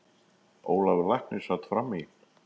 Ólafur læknir sat fram í.